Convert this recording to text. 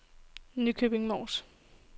Nykøbing Mors